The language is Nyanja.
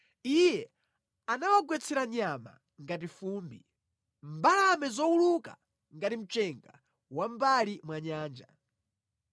Iye anawagwetsera nyama ngati fumbi, mbalame zowuluka ngati mchenga wa mʼmbali mwa nyanja.